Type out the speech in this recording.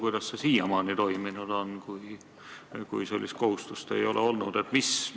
Kuidas see siiamaani toiminud on, kui sellist kohustust ei ole olnud?